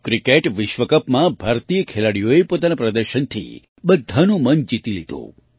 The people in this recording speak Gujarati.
ક્રિકેટ વિશ્વ કપમાં ભારતીય ખેલાડીઓએ પોતાના પ્રદર્શનથી બધાનું મન જીતી લીધું